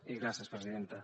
i gràcies presidenta